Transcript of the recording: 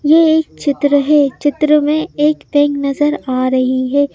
यह एक चित्र है चित्र में एक पैंग नजर आ रही है।